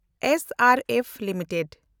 ᱮᱥᱮᱱᱰᱮᱯᱷ limited